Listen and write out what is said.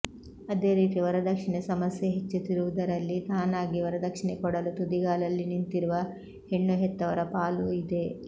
ಅದೇ ರೀತಿ ವರದಕ್ಷಿಣೆ ಸಮಸ್ಯೆ ಹೆಚ್ಚುತ್ತಿರುವುದರಲ್ಲಿ ತಾನಾಗಿ ವರದಕ್ಷಿಣೆ ಕೊಡಲು ತುದಿಗಾಲಲ್ಲಿ ನಿಂತಿರುವ ಹೆಣ್ಣು ಹೆತ್ತವರ ಪಾಲೂ ಇದೆ